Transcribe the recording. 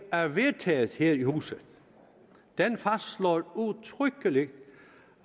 og er vedtaget her i huset den fastslår udtrykkeligt